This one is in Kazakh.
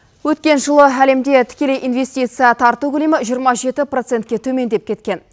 өткен жылы әлемде тікелей инвестиция тарту көлемі жиырма жеті процентке төмендеп кеткен